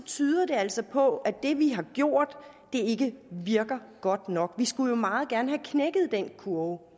tyder det altså på at det vi har gjort ikke virker godt nok vi skulle jo meget gerne have knækket den kurve